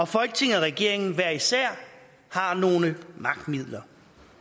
folketinget og regeringen hver især har nogle magtmidler